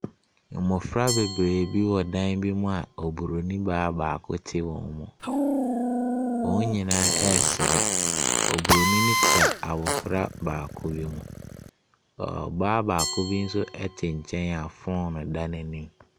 Mmɔfra bebree bi wɔ dan bi mu ɔbronin baa baako ɛte wɔn mu. Wɔn nyinaa ɛresere, ɔbronin no kura abɔfra baako bi mu. Ɔ Ɔbaa baako bi nso ɛte nkyɛn a foono ɛda n’anim.